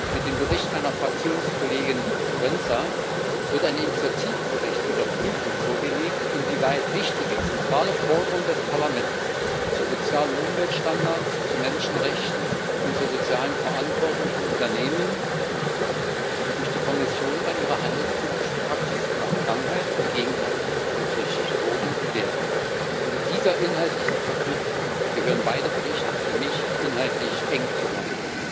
Mit dem Bericht meiner Fraktionskollegin Forenza wird ein Initiativbericht zur Überprüfung vorgelegt, inwieweit wichtige, zentrale Forderungen des Parlaments zu Sozial und Umweltstandards, zu Menschenrechten und zur sozialen Verantwortung von Unternehmen durch die Kommission bei ihrer handelspolitischen Praxis in der Vergangenheit und gegenwärtig berücksichtigt wurden und werden. In dieser inhaltlichen Verknüpfung gehören beide Berichte für mich inhaltlich eng zusammen.